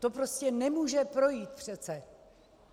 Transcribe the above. To prostě nemůže projít přece.